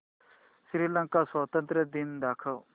श्रीलंका स्वातंत्र्य दिन दाखव